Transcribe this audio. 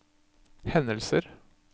hendelser